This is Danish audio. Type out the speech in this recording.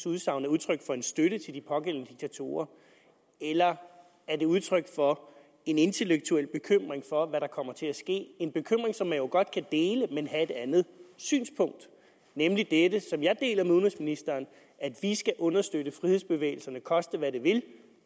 udsagn er udtryk for en støtte til de pågældende diktatorer eller er det udtryk for en intellektuel bekymring for hvad der kommer til at ske det en bekymring som man jo godt kan dele men have et andet synspunkt om nemlig dette som jeg deler med udenrigsministeren at vi skal understøtte frihedsbevægelserne koste hvad det vil